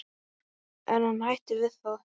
En hann hættir við það.